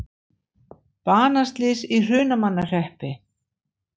Banaslys í Hrunamannahreppi